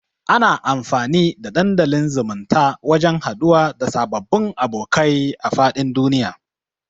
Ana amfani da dandalin zumunta wajan haduwa da sababbun abokai a fadin duniya